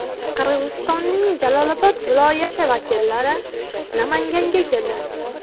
Qirg‘izistonning Jalolobod viloyati vakillari Namanganga keldi.